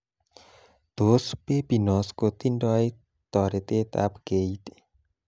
Tos, Pepinos kotindoi toretetab keit